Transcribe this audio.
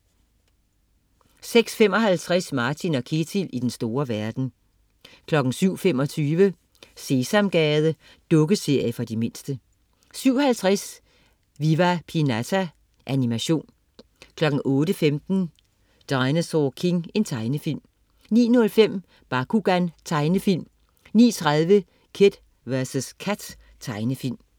06.55 Martin & Ketil i den store verden 07.25 Sesamgade. Dukkeserie for de mindste 07.50 Viva Pinata. Animation 08.15 Dinosaur King. Tegnefilm 09.05 Bakugan. Tegnefilm 09.30 Kid vs Kat. Tegnefilm